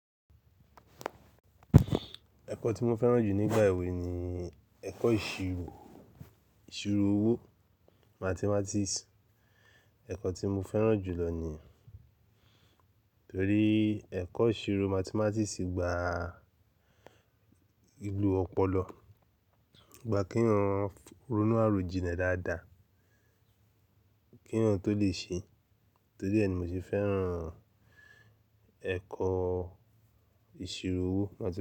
Ẹ̀kọ́ tí mo fẹ́ràn jù nígbà èwe ni ẹ̀kọ́ ìṣirò, ìṣirò owó Mathematics. Ẹ̀kọ́ tí mo fẹ́ràn jù lọ niyen torí ẹ̀kọ́ ìṣirò Mathematics gba lìlo ọpọlọ, gba kí wọ́n ronú àròjinlẹ̀ dáadáa, kí eyan tó lè ṣe. Torí ẹ ni mo ṣe fẹ́ràn ẹ̀kọ́ ìṣirò owó Mathematics.